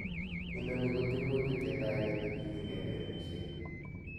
Inoni ko tiemutik chetaa ketokinik ke Lewenisiet.